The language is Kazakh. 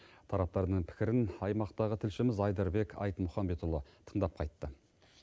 тараптардың пікірін аймақтағы тілшіміз айдарбек айтмұхамбетұлы тыңдап қайтты